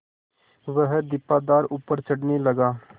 वह दीपाधार ऊपर चढ़ने लगा